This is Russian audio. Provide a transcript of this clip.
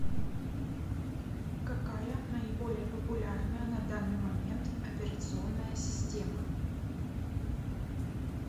какая наиболее популярная на данный момент операционная система